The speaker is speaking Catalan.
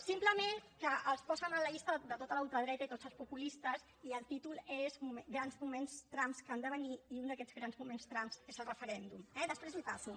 simplement que els posen a la llista de tota la ultradreta i tots els populistes i el títol és grans moments trump que han de venir i un d’aquests grans moments trump és el referèndum eh després l’hi passo